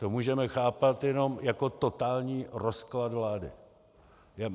To můžeme chápat jenom jako totální rozklad vlády.